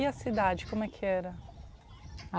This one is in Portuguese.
E a cidade, como é que era?